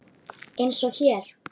Eins og hér.